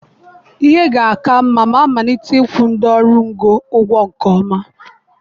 Ihe ga-aka mma ma amalite ịkwụ ndị ọrụ ngo ụgwọ nke ọma.